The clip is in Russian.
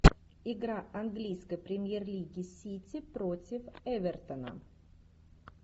игра английской премьер лиги сити против эвертона